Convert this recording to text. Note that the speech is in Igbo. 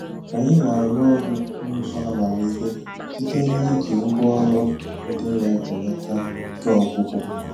Anyị na-arụ ọrụ n'ụzọ amamihe site n'iji ngwá ọrụ ndị na-ebelata ike ọgwụgwụ.